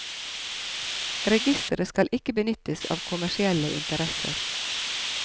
Registeret skal ikke benyttes av kommersielle interesser.